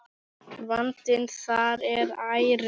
Vandinn þar er ærinn.